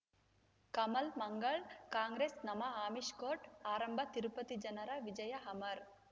ಕಮಲ್ ಮಂಗಳ್ ಕಾಂಗ್ರೆಸ್ ನಮಃ ಅಮಿಷ್ ಕೋರ್ಟ್ ಆರಂಭ ತಿರುಪತಿ ಜನರ ವಿಜಯ ಅಮರ್